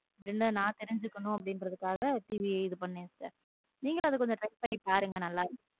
என்னன்னு நான் தெரிஞ்சுக்கணும் அப்பிடிங்கிரதுக் TV இது பண்ணேன் sister நீங்களும் அதை try பண்ணி பாருங்க நல்லா இருக்கும்.